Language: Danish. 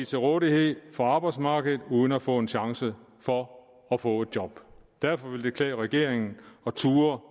til rådighed for arbejdsmarkedet uden at få en chance for at få et job derfor ville det klæde regeringen at turde